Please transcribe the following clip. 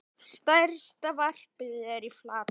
Stærsta varpið er í Flatey.